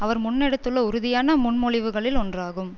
அவர் முன்னெடுத்துள்ள உறுதியான முன்மொழிவுகளுள் ஒன்றாகும்